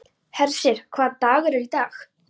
Hersir, hvaða dagur er í dag?